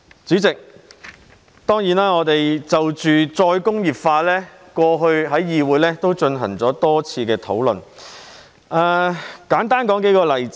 主席，我們過去在立法會曾就着再工業化進行了多次討論，讓我簡單舉數個例子。